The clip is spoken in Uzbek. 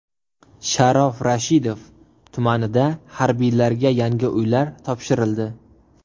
Sharof Rashidov tumanida harbiylarga yangi uylar topshirildi.